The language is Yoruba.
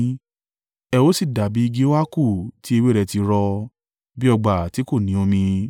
Ẹ ó sì dàbí igi óákù tí ewé rẹ̀ ti rọ, bí ọgbà tí kò ní omi.